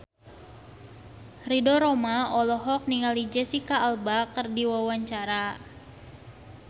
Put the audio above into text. Ridho Roma olohok ningali Jesicca Alba keur diwawancara